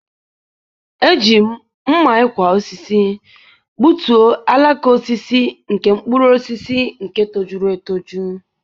eji m mma-ikwa-osisi gbutu alaka osisi nke mkpuru osisi nke tojuru etoju.